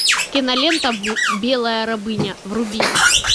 кинолента белая рабыня вруби